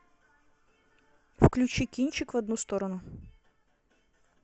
включи кинчик в одну сторону